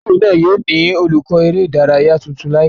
Ile-iwe náà yóò ni olukọ ere idaraya tuntun laipẹ